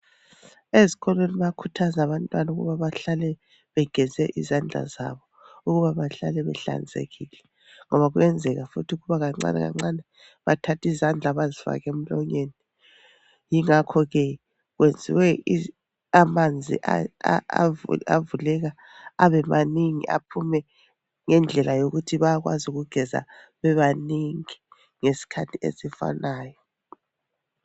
Ezikolweni bayakhuthaza abantwana ukuba bahlale begeze izandla zabo, Ukuba bahlale behlanzekile ngoba kuyenzeka futhi ukuba kancane kancane bathathe izandla bazifake emlonyeni ingakho ke kwenziwe amanzi avuleka abe manengi aphume ngendlela yokuthi bayakwazo ukugeza bebanengi ngesikhathi esifanayo.